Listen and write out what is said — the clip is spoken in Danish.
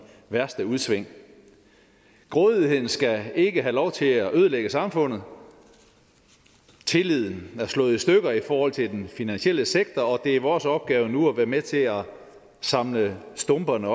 værste udsving grådigheden skal ikke have lov til at ødelægge samfundet tilliden er slået i stykker i forhold til den finansielle sektor og det er vores opgave nu at være med til at samle stumperne